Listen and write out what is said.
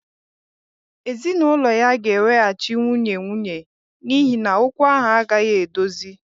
Ezinụlọ ya ga-eweghachi nwunye nwunye n'ihi na okwu ahụ agaghị edozi